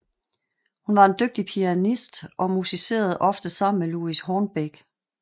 Hun var en dygtig pianist og musicerede ofte sammen med Louis Hornbeck